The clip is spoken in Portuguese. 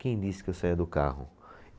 Quem disse que eu saía do carro?